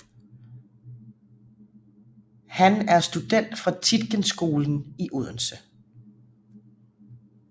Har er student fra Tietgenskolen i Odense